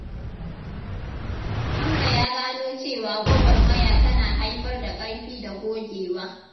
Hamza ya gano cewa gwagwarmaya tana haifar da ƙarfi da gogewa.